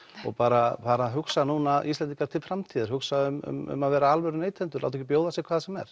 og bara fara að hugsa Íslendingar til framtíðar hugsa um að vera alvöru neytendur og láta ekki bjóða sér hvað sem er